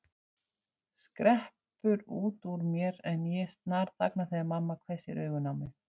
skreppur út úr mér en ég snarþagna þegar mamma hvessir augun á mig.